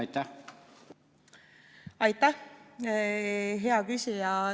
Aitäh, hea küsija!